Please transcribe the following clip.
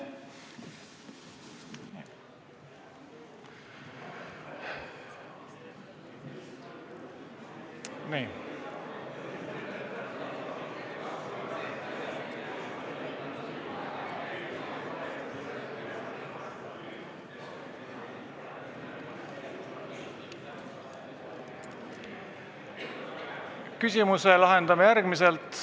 Küsimuse lahendame järgmiselt.